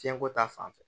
Fiɲɛko ta fanfɛ